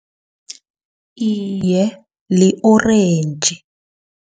Iye, li-orentji.